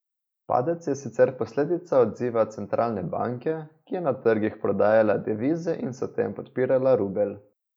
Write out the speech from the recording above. Padec je sicer posledica odziva centralne banke, ki je na trgih prodajala devize in s tem podpirala rubelj.